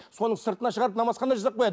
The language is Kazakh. сонын сыртына шығарып намазхана жасап қояды